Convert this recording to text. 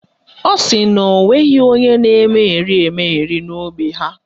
Ọ sị na o nweghị onye na-emegheri emegheri na ógbè ha